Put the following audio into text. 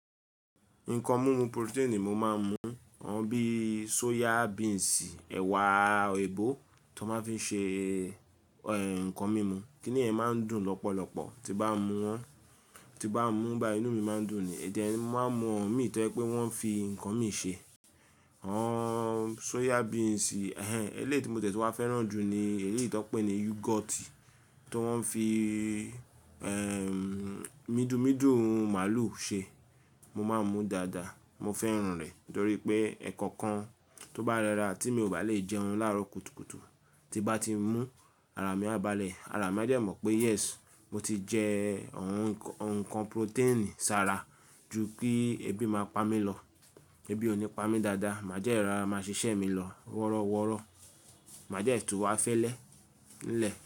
Nǹkan mímu protein mo máa ń mu. Àwọn bíi soya beans, ẹ̀wà ebó tó máa ń fi ṣe ẹ̀ nǹkan mímu. Kíni yẹ́n máa ń dùn lọ́pọ̀lọpọ̀ tí n bá mú wọn. Tí n bá mú bayii, inú mi máa ń dùn ni. Then mo máa n mu awon mí tọ́ jẹ pé wọ́n fi ǹkan mí ṣe. Àwọn soya beans, ẹ́ lẹ́ tí mo tẹ tun wá fẹ́ràn jù ni eléyìí tó ń pè ní yoghurt tó wọ́n fi midumidu màlúù ṣe. Mo máa ń mú dáadáa. Mo fẹ́ràn rẹ̀ nítorí pé ẹkọkan tó bá rẹra tí mi ò bá lè jẹun láàárọ̀ kùtùkùtù tí bá ti mú ara mi á bá le. Ara mi a dẹ̀ mọ̀ pé yes mo ti jẹ ọ̀n-ǹkan protein sára ju kí ebi máa pa mí lọ. Ebi ò ní pa mí dáadáa, màá jẹ́ rọra máa ṣiṣẹ́ mi lọ wọ́rọ́wọ́rọ́. Màá jẹ́ tun wá fẹ́lẹ́ ńlẹ̀